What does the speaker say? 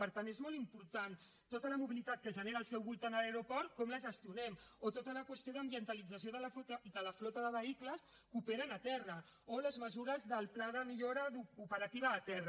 per tant és molt important tota la mobilitat que genera al seu voltant l’aeroport com la gestionem o tota la qüestió d’ambientalització de la flota de vehicles que operen a terra o les mesures del pla de millora operativa a terra